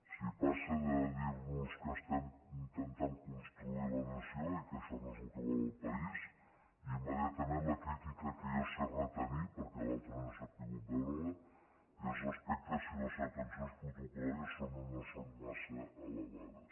sí passa de dir nos que intentem construir la nació i que això no és el que vol el país immediatament la crítica que jo sé retenir perquè l’altre no he sabut veure la és respecte si les atencions protocol·làries són o no són massa elevades